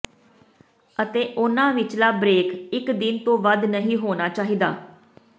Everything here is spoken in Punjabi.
ਅਤੇ ਉਨ੍ਹਾਂ ਵਿਚਲਾ ਬ੍ਰੇਕ ਇਕ ਦਿਨ ਤੋਂ ਵੱਧ ਨਹੀਂ ਹੋਣਾ ਚਾਹੀਦਾ